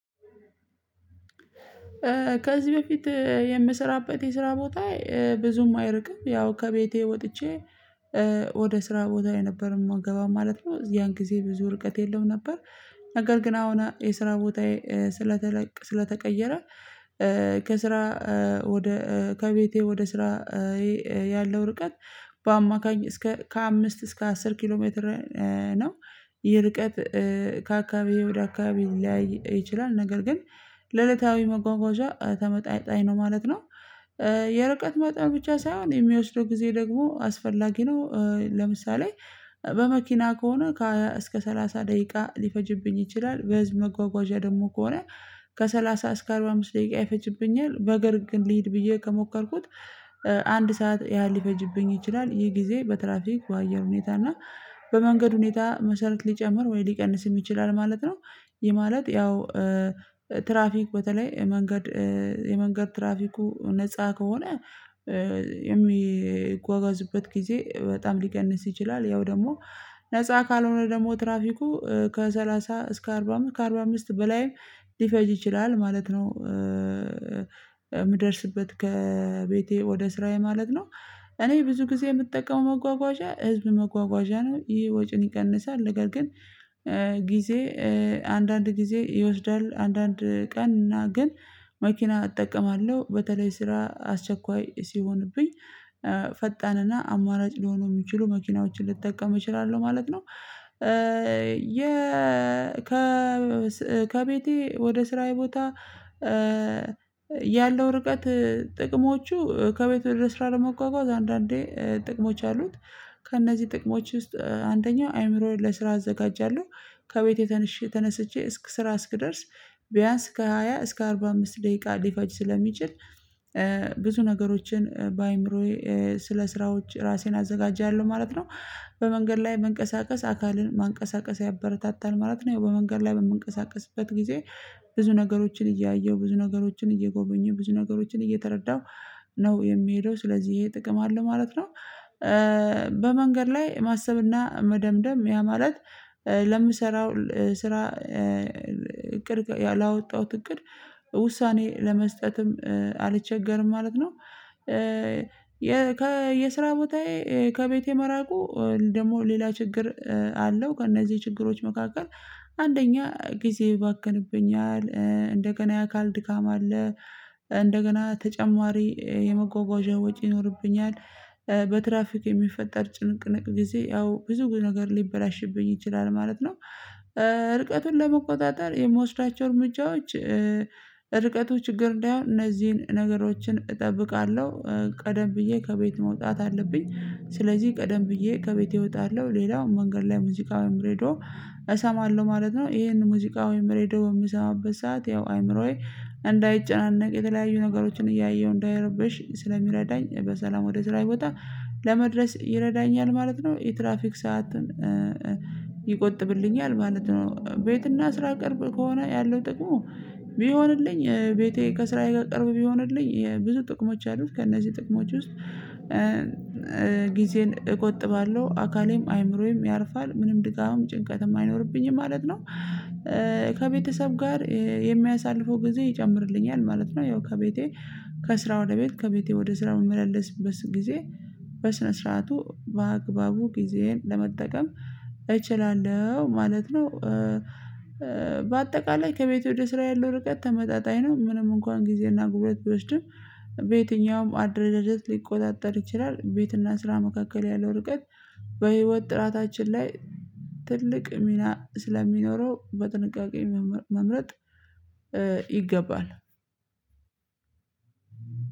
ከዚህ በፊት የምሰራበት የስራ ቦታ ብዙም አይርቅም ያው ከቤቴ ወጥቼ ወደ ስራ ቦታየ ነበረ ምገባው ማለት ነው ያን ጊዜ ብዙ ርቀት የለውም ነበር። ነገር ግን አሁን የስራ ቦታዬ ስለተለቀ ስለተቀየረ ከስራ ወደ ከቤቴ ወደ ስራዬ ያለው ርቀት በአማካኝ እስከ ከአምስት እስከ አስር ኪሎ ሜትር ነው። የርቀት ከአካባቢ ወደ አካባቢ ሊለያይ ይችላል ነገር ግን ለእለታዊ መጓጓዣ ተመጣጣኝ ነው ማለት ነው። የርቀት መጣኑ ብቻ ሳይሆን የሚወስደው ጊዜ ደግሞ አስፈላጊ ነው ለምሳሌ በመኪና ከሆነ ከ ሃያ እስከ ሰላሳ ደቂቃ ሊፈጅብኝ ይችላል። በህዝብ መጓጓዣ ደግሞ ከሆነ ከሰላሳ እስከ አርባ አምስት ደቂቃ ይፈጅብኛል። በእግር ግን ልሂድ ብዬ ከሞከርኩት አንድ ሰዓት ያህል ሊፈጅብኝ ይችላል ይሄ ጊዜ በትራፊክ በአየር ሁኔታ እና በመንገድ ሁኔታ መሰረት ሊጨምር ወይ ሊቀንስም ይችላል ማለት ነው። ይህ ማለት ያው ትራፊክ በተለይ የመንገድ የመንገድ ትራፊኩ ነፃ ከሆነ የሚጓጓዙበት ጊዜ በጣም ሊቀንስ ይችላል። ያው ደግሞ ነፃ ካልሆነ ደግሞ ትራፊኩ ከሰላሳ እስከ አርባ አምስት ከአርባ አምስት በላይም ሊፈጅ ይችላል ማለት ነው። የምደርስበት ከቤቴ ወደ ስራዬ ማለት ነው እኔ ብዙ ጊዜ የምጠቀመው መጓጓዣ ህዝብ መጓጓዣ ነው ይሄ ወጭን ይቀንሳል። ነገር ግን ጊዜ አንዳንድ ጊዜ ይወስዳል አንዳንድ ቀን እና ግን መኪና እጠቀማለሁ በተለይ ስራ አስቸኳይ ሲሆንብኝ ፈጣን እና አማራጭ ሊሆኑ የሚችሉ መኪናዎችን ልትጠቀም እችላለሁ ማለት ነው። የ ከ ከቤቴ ወደ ስራዬ ቦታ ያለው ርቀት ጥቅሞቹ ከቤት ወደስራ ለመጓጓዝ አንዳንዴ ጥቅሞች አሉት። ከእነዚህ ጥቅሞች ውስጥ አንደኛው አይምሮህን ለስራ አዘጋጃለሁ ከቤቴ ተነሽ ተነስቼ እስከ ስራ እስክደርስ ቢያንስ ከሃያ እስከ አርባ አምስት ደቂቃ ሊፈጅ ስለሚችል ብዙ ነገሮችን በአእምሮዬ ስለ ስራዎች ራሴን አዘጋጃለሁ ማለት ነው። በመንገድ ላይ መንቀሳቀስ አካልን ማንቀሳቀስ ያበረታታል ማለት ነው በመንገድ ላይ በምንቀሳቀስበት ጊዜ ብዙ ነገሮችን እያየሁ ብዙ ነገሮችን እየጎበኙ ብዙ ነገሮችን እየተረዳሁ ነው የሚሄደው ስለዚህ ይሄ ጥቅም አለው ማለት ነው። በመንገድ ላይ ማሰብና መደምደም ያ ማለት ለምሰራው ስራ እቅድ ያላወጣሁት እቅድ ውሳኔ ለመስጠትም አልቸገርም ማለት ነው። የስራ ቦታዬ ከቤቴ መራቁ ደግሞ ሌላ ችግር አለው ከእነዚህ ችግሮች መካከል አንደኛ ጊዜ ይባከንብኛል እንደገና የአካል ድካም አለ። እንደገና ተጨማሪ የመጓጓዣ ወጪ ይኖርብኛል። በትራፊክ የሚፈጠር ጭንቅንቅ ጊዜ ያው ብዙ ነገር ሊበላሽብኝ ይችላል ማለት ነው። ርቀቱን ለመቆጣጠር የምወስዳቸው እርምጃዎች ርቀቱ ችግር እንደይሆን እነዚህን ነገሮችን እጠብቃለሁ። ቀደም ብዬ ከቤት መውጣት አለብኝ ስለዚህ ቀደም ብዬ ከቤቴ እወጣለሁ ሌላው መንገድ ላይ ሙዚቃ ወይም ሬድዮ እሰማለሁ ማለት ነው። ይሄንን ሙዚቃ ወይም ሬድዮ የምሰማበት ሰዓት ያው አይምሮዬ እንዳይጨናነቅ የተለያዩ ነገሮችን እያየሁ እንዳይረበሽ ስለሚረዳኝ በሰላም ወደ ስራዬ ቦታ ለመድረስ ይረዳኛል ማለት ነው። የትራፊክ ሰዓትን ይቆጥብልኛል ማለት ነው። ቤትና ስራ ቅርብ ከሆነ ያለው ጥቅሙ ቢሆንልኝ ቤቴ ከስራዬ ጋር ቅርብ ቢሆንልኝ የብዙ ጥቅሞች አሉት። ከእነዚህ ጥቅሞች ውስጥ ጊዜን እቆጥባለሁ አካሌም አይምሮዬም ያርፋል ምንም ድጋም ጭንቀትም አይኖርብኝም ማለት ነው። ከቤተሰብ ጋር የሚያሳልፈው ጊዜ ይጨምርልኛል ማለት ነው። ያው ከቤቴ ከስራ ወደ ቤት ከቤቴ ወደ ስራ የምመላለስበት ጊዜ በስነ ስርዓቱ በአግባቡ ጊዜዬን ለመጠቀም እችላለሁ ማለት ነው። በአጠቃላይ ከቤት ወደ ስራዬ ያለው ርቀት ተመጣጣኝ ነው ምንም እንኳን ጊዜና ጉልበት ብወስድም በየትኛውም አደረጃጀት ሊቆጣጠር ይችላል ቤትና ስራ መካከል ያለው ርቀት በህይወት ጥራታችን ላይ ትልቅ ሚና ስለሚኖረው በጥንቃቄ መምረጥ ይገባል።